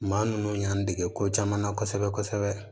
Maa ninnu y'an dege ko caman na kosɛbɛ kosɛbɛ